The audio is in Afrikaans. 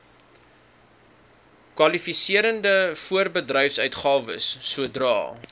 kwalifiserende voorbedryfsuitgawes sodra